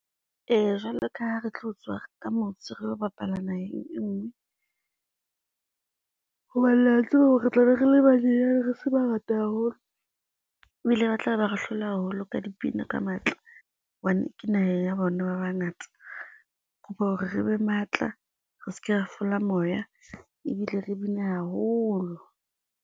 Eya jwalo ka ha re tlo tswa ka motse re lo bapala naheng e ngwe, hobane la tseba hore re tlabe re le banyane, re se bangata haholo ebile ba tla ba ba re hlola haholo ka dipina ka matla, hobane ke naheng ya bona ba bangata kopa hore re be matla, re seke ra fela moya ebile re bine haholo.